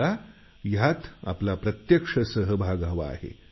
मला यात आपला प्रत्यक्ष सहभाग हवा आहे